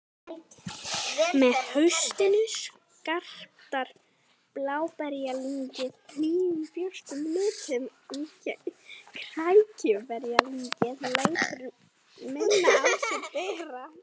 Með haustinu skartar bláberjalyngið nýjum björtum litum en krækiberjalyngið lætur minna á sér bera.